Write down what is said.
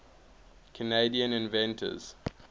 canadian inventors